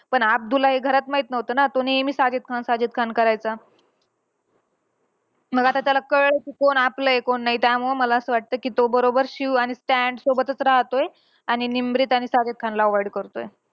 पण अब्दूला हे घरात माहित नव्हतं ना. तो नेहमी साजिद खान, साजिद खान करायचा. मग आता कळलं कि कोण आपलंय, कोण नाही. त्यामुळं मला असं वाटतं कि तो बरोबर शिव आणि स्टॅन सोबतचं राहतोय आणि निमरीत आणि साजिद खानला avoid करतोय.